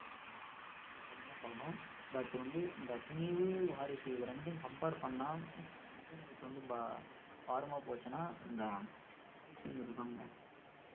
சொல்லணும் but வந்து இந்த துணிவு வாரிசு இது ரெண்டையும் compare பண்ணா எந்த வந்து பா~ பாரமா போச்சுனா இந்த வாரிசு படம் தாங்க